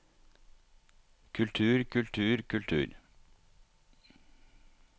kultur kultur kultur